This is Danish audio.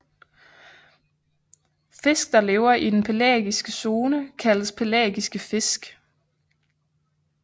Fisk der lever i den pelagiske zone kaldes pelagiske fisk